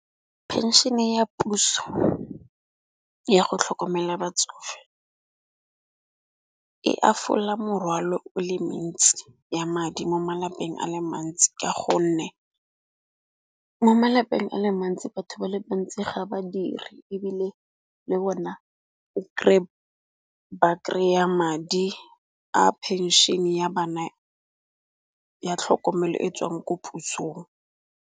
Phenšene ya puso yago tlhokomela batsofe e afola morwalo o le mentsi ya madi mo malapeng a le mantsi. Ka gonne mo malapeng a le mantsi batho ba le bantsi ga badiri ebile le bona o kry ba kry-a madi a phenšhene ya bana ya tlhokomelo e tswang ko pusong.